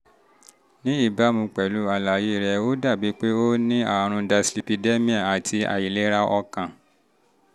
ní ìbámu pẹ̀lú àlàyé rẹ ó dàbí pé ó dàbí pé o ní àrùn dyslipidemia àti àìlera ọkàn